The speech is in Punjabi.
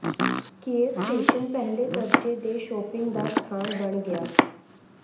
ਕਿਯੇਵ ਸਟੇਸ਼ਨ ਪਹਿਲੇ ਦਰਜੇ ਦੇ ਸ਼ੌਪਿੰਗ ਦਾ ਸਥਾਨ ਬਣ ਗਿਆ